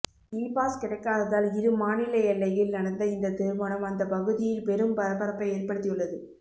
இ pass கிடைக்காததால் இரு மாநில எல்லையில் நடந்த இந்த திருமணம் அந்த பகுதியில் பெரும் பரபரப்பை ஏற்படுத்தி உள்ளது